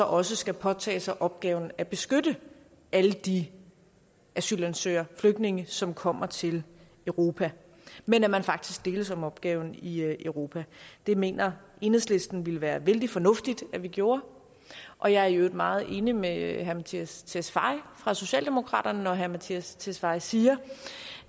også skal påtage sig opgaven at beskytte alle de asylansøgere flygtninge som kommer til europa men at man faktisk deles om opgaven i europa det mener enhedslisten ville være vældig fornuftigt at vi gjorde og jeg er i øvrigt meget enig med herre mattias tesfaye fra socialdemokraterne når herre mattias tesfaye siger